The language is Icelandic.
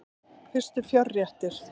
Fyrstu fjárréttir